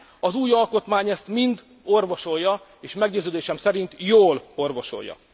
Az új alkotmány ezt mind orvosolja, és meggyőződésem szerint jól orvosolja.